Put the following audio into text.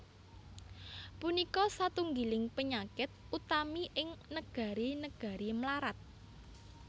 Punika satunggiling panyakit utami ing negari negari mlarat